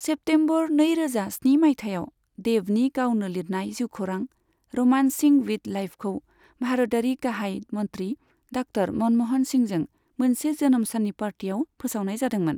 September नैरोजा स्नि मायथाइयाव, देबनि गावनो लिरनाय जिउखौरां 'र'मान्सिं विथ लाइफ'खौ भारतारि गाहाय मन्त्रि डा. मनम'हन सिंहजों मोनसे जोनोम साननि पार्टीआव फोसावनाय जादोंमोन।